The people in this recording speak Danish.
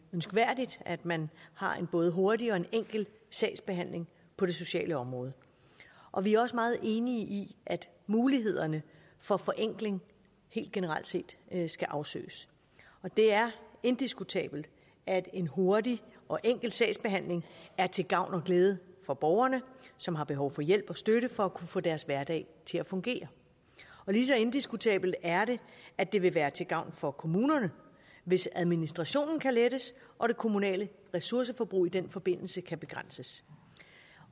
ønskværdigt at man har en både hurtig og enkel sagsbehandling på det sociale område og vi er også meget enige i at mulighederne for forenkling helt generelt set skal afsøges det er indiskutabelt at en hurtig og enkel sagsbehandling er til gavn og glæde for borgerne som har behov for hjælp og støtte for at kunne få deres hverdag til at fungere lige så indiskutabelt er det at det vil være til gavn for kommunerne hvis administrationen kan lettes og det kommunale ressourceforbrug i den forbindelse kan begrænses